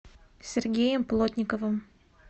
сергеем плотниковым